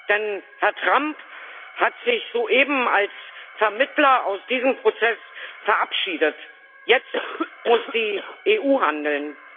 Denn Herr Trump hat sich soeben als Vermittler aus diesem Prozess verabschiedet. Jetzt muss die EU handeln.